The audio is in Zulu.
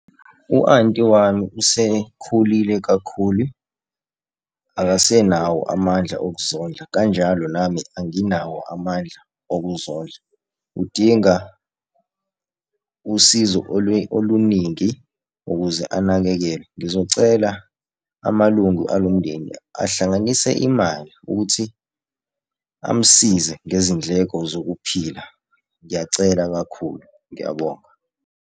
U-anti wami usekhulile kakhulu, akasenawo amandla okuzondla. Kanjalo nami anginawo amandla okuzondla. Udinga usizo oluningi ukuze anakekelwe. Ngizocela amalungu alomndeni ahlanganise imali ukuthi amsize ngezindleko zokuphila. Ngiyacela kakhulu, ngiyabonga.